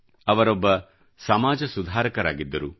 ಅವರೊಬ್ಬ ಸಮಾಜ ಸುಧಾರಕರಾಗಿದ್ದರು